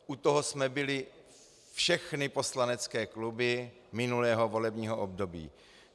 U toho jsme byly všechny poslanecké kluby minulého volebního období.